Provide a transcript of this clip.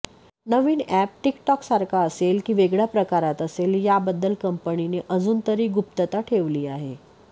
नवीन app टिक टॉकसारखा असेल की वेगळ्या प्रकारात असेल याबद्दल कंपनीने अजूनतरी गुप्तता ठेवली आहे